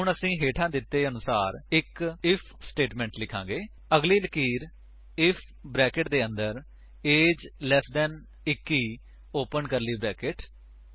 ਹੁਣ ਅਸੀ ਹੇਠਾਂ ਦਿੱਤੇ ਦੇ ਸਮਾਨ ਇੱਕ ਆਈਐਫ ਸਟੇਟਮੇਂਟ ਲਿਖਾਂਗੇ ਅਗਲੀ ਲਕੀਰ ਆਈਐਫ ਬਰੈਕੇਟਸ ਦੇ ਅੰਦਰ ਏਜੀਈ ਲਟ 21 ਓਪਨ ਕਰਲੀ ਬਰੈਕੇਟਸ